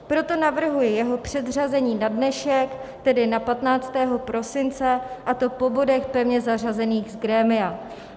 Proto navrhuji jeho předřazení na dnešek, tedy na 15. prosince, a to po bodech pevně zařazených z grémia.